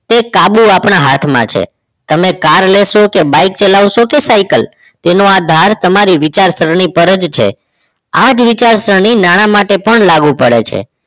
તે કાબુ આપણા હાથમાં છે તમે car લેશો કે bike ચલાવશો કે સાયકલ તેનો આધાર તમારી વિચારસરણી ઉપર જ છે આ જ વિચારસરણી નાણા માટે પણ લાગુ પડે છે